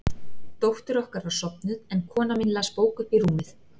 Dóttir okkar var sofnuð, en kona mín las bók uppi í rúmi.